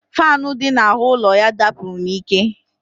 Faanụ dị n'ahụ ụlọ ya dapụrụ n'ike